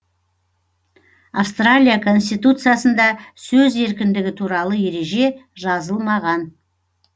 австралия конституциясында сөз еркіндігі туралы ереже жазылмаған